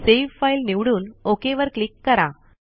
save file निवडून OK वर click करा